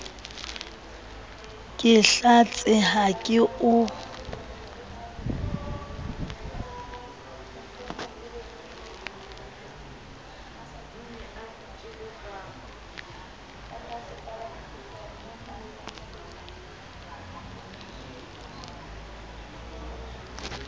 ke hlatse ha ke o